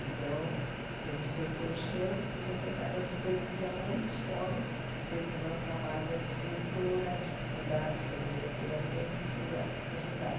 Então, tem o setor seu e você faz a supervisão nas escolas, vê como é o trabalho da diretora, a dificuldade que a diretora tem, procura ajudar.